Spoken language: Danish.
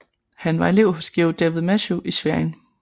Han var elev hos Georg David Matthieu i Schwerin